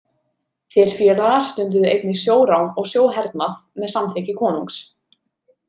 Þeir félagar stunduðu einnig sjórán og sjóhernað með samþykki konungs.